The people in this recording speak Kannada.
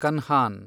ಕನ್ಹಾನ್